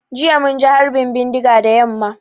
Jiya mun ji harbin bindiga da yamma.